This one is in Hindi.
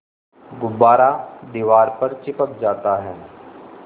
गुब्बारा दीवार पर चिपक जाता है